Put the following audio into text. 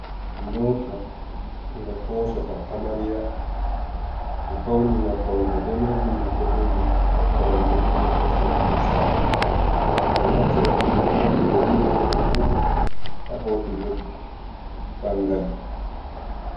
Moota nga hoosata amarya, ɓe fawni nga be pawne daneejum, be boɗeejum, be koromje ɗo joodi haa sera haa nder saare, ɓe ɗo naftira irin moota ɗo ni ɓurna fuu haa hoosugo ɓanngal.